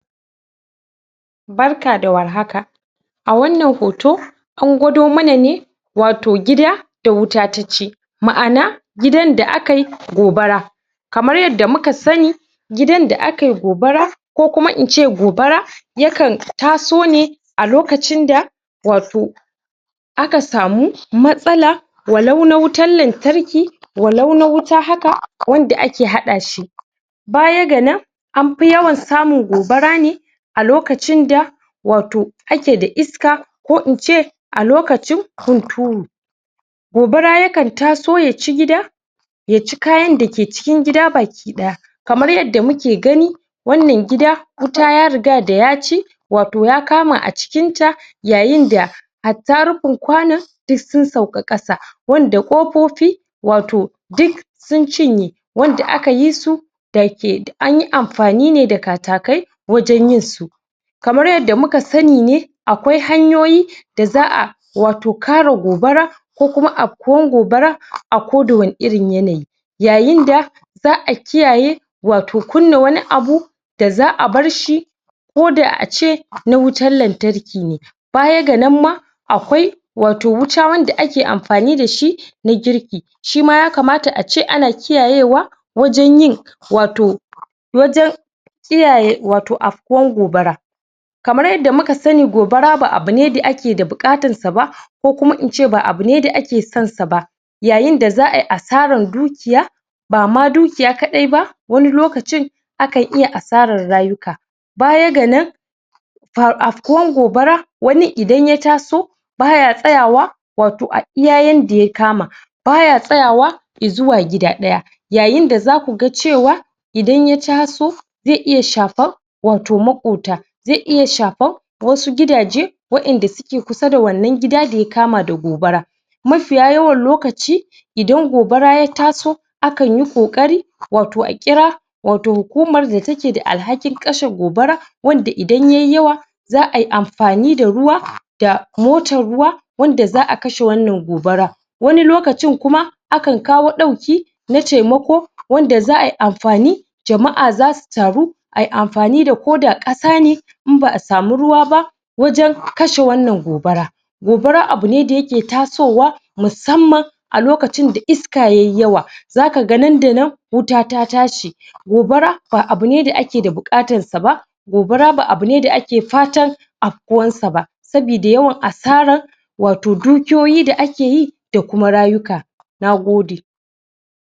Barka da war haka! A wannan hoto an gwada mana ne, watau gida da wuta ta ci mana, gidan aka yi gobara kamar yadda muka sani gidan da aka yi gobara ko kuma na ce gobara yakan taso ne a lokacin da, watau aka samu matsala walau na wutar lantarki, walau na haka wanda ake haɗa shi baya ga nan an fi yawan samun gobara ne a lokacin da watau ake da iska ko na ce a lokacin hunturu. Gobara yakan taso ya ci gida ya ci kayan da ke cikin gida baki ɗaya. Kamar yadda muke gani wannan gida, wuta ya riga da ya ci watau ya kama a cikinta yayin da hatta rufin kwanon duk sun sauka ƙasa, wanda ƙofofi watau, duk sun cinye, wanda aka yi su da ke amfani an yi amfani ne da katakai wajen yinsu. Kamar yadda muka sani ne, akwai hanyoyi da za a kare gobara a koda wane irin yanayi. yayin da za a kiyaye watau kunna wani abu da za a bar shi koda a ce na wutar lantarki ne. Baya ga nan ma, akwai wuta wanda ake amfani da shi na girki, sji ma ya kamata a ce ana kiyayewa wajen yin, watau wajen kiyaye watau afkuwar gobara Kamar yadda muka sani gobara ba abu ne da ake da buƙatarsa ba ko kuma na ce ba abu ne da ake sonsa ba, yayin da za a yi asarar dukiya ba ma dukiya kaɗai ba, wani lokacin akan iya hasarar rayuka. Baya ga nan, afkuwan gobara, wanin idan ya taso ba ya tsayawa, watau, a iya inda ya kama ba ya tsayawa i zuwa gida ɗaya yayin da za ku ga cewa idan ya taso, zai iya shafar watau, maƙwabta, zai iya shafarwasu gidaje waɗanda suke kusda da wannan gida da ya kama da gobara mafiya yawan lokaci idan gobara ya taso akan yi ƙoƙari, watau, a ƙira watau, hukumar da take da alhakin kashe gobara wanda idan ya yi yawa za a yi amfani da ruwa da motar ruwa wanda za a kashe wannan gobarar wani lokacin kuma, akan kawo ɗauki na taimako, wanda za a yi amfani jama'a za su taru ayi amfani da koda ƙasa ne in ba a samu ruwa ba wajen kashe wannan gobara Gobara abu ne da yake tasowa musamman a lokacin da iska ya yi yawa. Za ka ga nan da nan, wuta ta tashi. Gobara ba abu ne da ake da buƙatarsa ba gobara ba abu ne da ake fatar afkuwarsa ba saboda yawan asarar watau dukiyoyi da ake yi da kuma rayuka. Na gode.